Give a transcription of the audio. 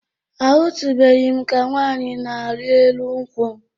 Ahụtụbeghị m ka nwaanyị na-arị elu nkwụ.